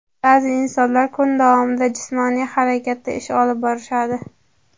Ba’zi insonlar kun davomida jismoniy harakatda ish olib borishadi.